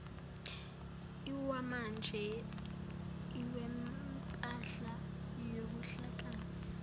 lwamanje lwempahla yobuhlakani